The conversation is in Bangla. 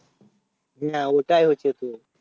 না ওটাই হচ্ছে খুব